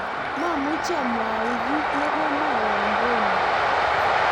mamuchi amwau kito ne komwowon Rono